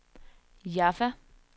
Jaffa